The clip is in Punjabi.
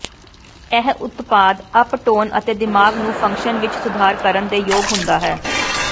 ਇਹ ਉਤਪਾਦ ਅਪ ਟੋਨ ਅਤੇ ਦਿਮਾਗ ਨੂੰ ਫੰਕਸ਼ਨ ਵਿੱਚ ਸੁਧਾਰ ਕਰਨ ਦੇ ਯੋਗ ਹੁੰਦਾ ਹੈ